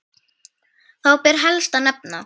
Þá ber helst að nefna